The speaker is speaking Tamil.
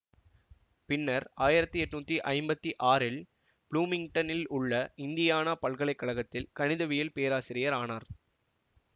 பின்னர் ஆயிரத்தி எட்ணூத்தி ஐம்பத்தி ஆறில் புளூமிங்டனில் உள்ல இந்தியானா பல்கலை கழகத்தில் கணிதவியல் பேராசிரியர் ஆனார்